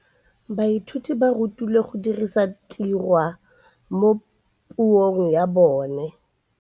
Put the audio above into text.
Baithuti ba rutilwe go dirisa tirwa mo puong ya bone.